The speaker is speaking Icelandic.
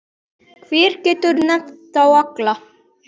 Hver getur nefnt þá alla?